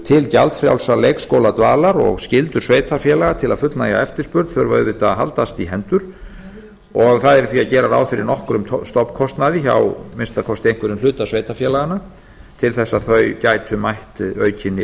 til gjaldfrjálsrar leikskóladvalar og skyldur sveitarfélaga til að fullnægja eftirspurn þurfa auðvitað að haldast í hendur og það yrði því að gera ráð fyrir nokkrum stofnkostnaði hjá að minnsta kosti einhverjum hluta sveitarfélaganna til þess að þau gætu mætt aukinni